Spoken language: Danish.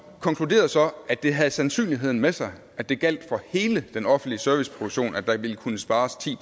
konkluderede så at det havde sandsynligheden med sig at det gjaldt for hele den offentlige serviceproduktion at der ville kunne spares ti